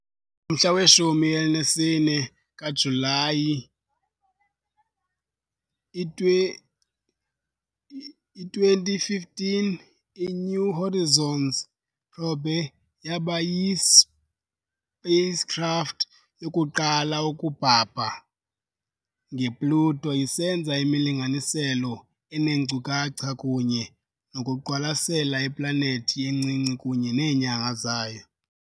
Ngomhla we-14 kaJulayi, i-2015, i- "New Horizons" probe yaba yi-spacecraft yokuqala ukubhabha nge -Pluto, isenza imilinganiselo eneenkcukacha kunye nokuqwalasela iplanethi encinci kunye neenyanga zayo.